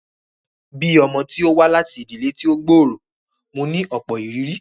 Bíi ọmọ tí wá láti ìdílé tí ó gbòòrò, mo ní ọ̀pọ̀ ìrírí